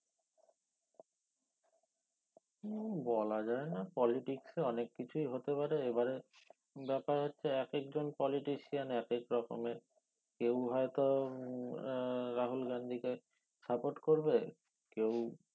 হম বলা যায় না politics এ অনেক কিছু হতে পারে এবারে ব্যাপার হচ্ছে একেক জন politician একেক রকমের কেও হয় তো উম আহ রাহুল গান্ধী কে support করবে কেও